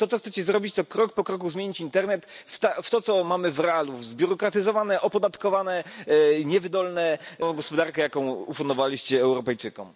To, co chcecie zrobić, to krok po kroku zmienić internet w to, co mamy w realu, w zbiurokratyzowaną, opodatkowaną i niewydolną gospodarkę, jaką ufundowaliście Europejczykom.